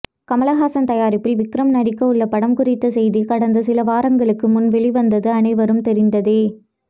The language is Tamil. கமல்ஹாசன் தயாரிப்பில் விக்ரம் நடிக்கவுள்ள படம் குறித்த செய்தி கடந்த சில வாரங்களுக்கு முன் வெளிவந்தது அனைவரும் தெரிந்ததே